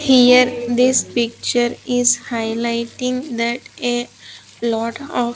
Here this picture is highlighting that a lot of--